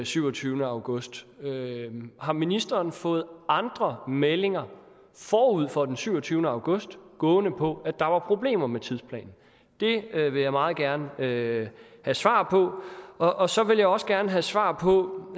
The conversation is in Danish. syvogtyvende august har ministeren fået andre meldinger forud for den syvogtyvende august gående på at der var problemer med tidsplanen det vil jeg meget gerne have svar på og og så vil jeg også gerne have svar på